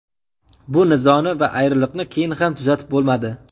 Bu nizoni va ayriliqni keyin ham tuzatib bo‘lmadi.